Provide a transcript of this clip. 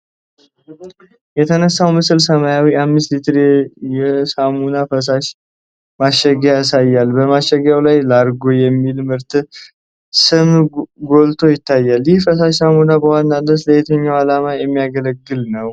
የተነሳው ምስል ሰማያዊ፣ 5 ሊትር የሳሙና ፈሳሽ (Liquid Detergent) ማሸጊያ ያሳያል። በማሸጊያው ላይ "Largo" የሚለው ምርት ስም ጎልቶ ይታያል። ይህ ፈሳሽ ሳሙና በዋናነት ለየትኛው ዓላማ የሚያገለግል ነው?